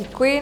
Děkuji.